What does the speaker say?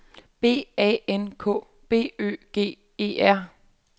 B A N K B Ø G E R